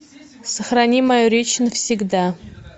сохрани мою речь навсегда